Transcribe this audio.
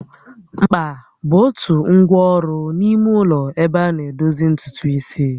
Mkpa bụ otu ngwa ọrụ n'ime ụlọ ebe ana edozi ntutu isi